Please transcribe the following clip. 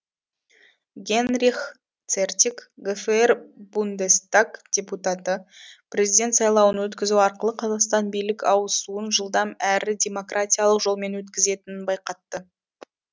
генрих цертик гфр бундестаг депутаты президент сайлауын өткізу арқылы қазақстан билік ауысуын жылдам әрі демократиялық жолмен өткізетінін байқатты